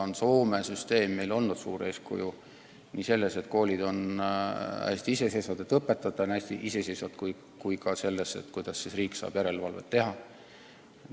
Ent Soome süsteem on meile olnud suur eeskuju – nii selles, et koolid on hästi iseseisvad ja õpetajad on hästi iseseisvad, kui ka selles, kuidas riik saab järelevalvet teha.